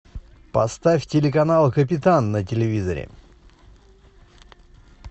поставь телеканал капитан на телевизоре